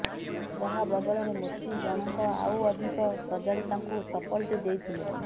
ଯାହା ବଦଳରେ ମୋଚି ଜଣଙ୍କ ଆଉ ଅଧିକ ସଜାଡି ତାଙ୍କୁ ଚପଲଟି ଦେଇଥିଲେ